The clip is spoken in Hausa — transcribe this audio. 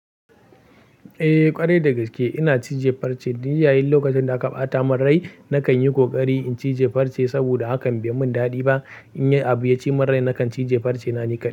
Eh ƙwarai da gaske ina cije farce, dun yayin lokacin da aka ɓata mun rai nakan yi ƙoƙari in cije farce saboda hakan bai mun daɗi ba. In yi abu ya ci mun rai nakan cije farce na nika.